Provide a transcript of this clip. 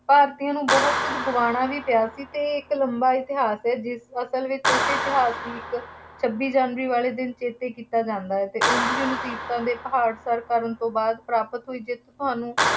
ਭਾਰਤੀਆਂ ਨੂੰ ਬਹੁਤ ਕੁੱਝ ਗੁਆਉਣਾ ਵੀ ਪਿਆ ਸੀ ਅਤੇ ਇਹ ਇੱਕ ਲੰਬਾ ਇਤਿਹਾਸ ਹੈ ਅਤੇ ਜਿਸ ਵਿੱਚ ਇਸੇ ਇਤਿਹਾਸ ਦੀ ਇੱਕ ਛੱਬੀ ਜਨਵਰੀ ਵਾਲੇ ਦਿਨ ਚੇਤੇ ਕੀਤਾ ਜਾਂਦਾ ਹੈ ਅਤੇ ਉਂਝ ਵੀ ਮੁਸੀਬਤਾਂ ਦੇ ਪਹਾੜ ਸਰ ਕਰਨ ਤੋਂ ਬਾਅਦ ਪ੍ਰਾਪਤ ਹੋਈ ਜਿੱਤ ਸਾਨੂੰ